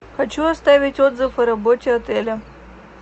хочу оставить отзыв о работе отеля